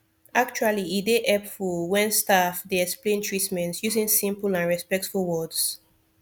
actually e dey hepful wen staf dey explain treatment using simple and respectful words